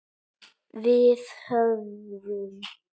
Við höfðum